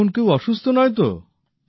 এখন কেউ অসুস্থ নয় তো